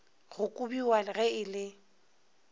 go kobiwa ge e le